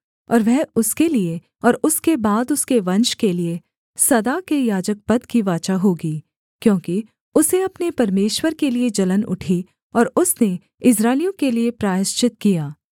और वह उसके लिये और उसके बाद उसके वंश के लिये सदा के याजकपद की वाचा होगी क्योंकि उसे अपने परमेश्वर के लिये जलन उठी और उसने इस्राएलियों के लिये प्रायश्चित किया